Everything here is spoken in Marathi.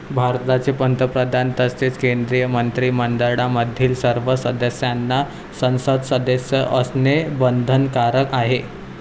भारताचे पंतप्रधान तसेच केंद्रीय मंत्रिमंडळामधील सर्व सदस्यांना संसद सदस्य असणे बंधनकारक आहे.